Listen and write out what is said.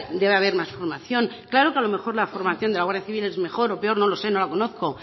debe haber más formación claro que a lo mejor la formación de la guardia civil es mejor o peor no lo sé no la conozco